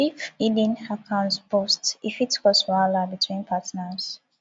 if hidden account burst e fit cause wahala between partners